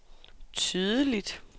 tydeligt